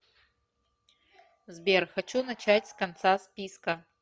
сбер хочу начать с конца списка